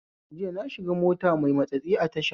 Jiya nashiga mota mai matsatsi a tasha